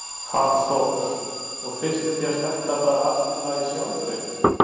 Hafþór: Og finnst þér þetta bara allt í lagi sjálfri?